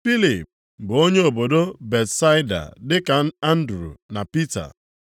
Filip bụ onye obodo Betsaida dị ka Andru na Pita.